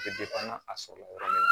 Bɛ a sɔrɔla yɔrɔ min na